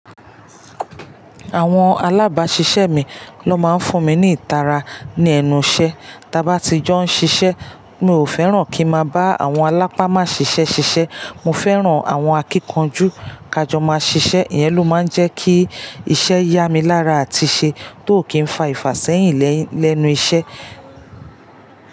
Àwọn alábàáṣiṣẹ́ mi ló máa ń fún mi ní ìtara ní ẹnu iṣẹ́. Tí a bá ti jọ ń ṣiṣẹ́, mi ò fẹ́ràn kí n máa bá àwọn alápámaṣiṣẹ́ ṣiṣẹ́. Mo fẹ́ràn àwọn akíkanjú kí a jọ máa ṣiṣẹ́. Iyẹn ló máa ń jẹ́ kí iṣẹ́ yá mi lára àti ṣe tó kì í fa ìfàṣẹ́yìn lẹ́nu iṣẹ́